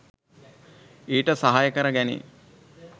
ඊට සහාය කර ගැනේ.